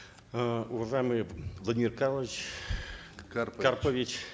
э уважаемый владимир карлович карпович